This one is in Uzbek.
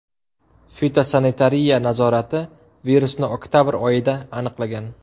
Fitosanitariya nazorati virusni oktabr oyida aniqlagan.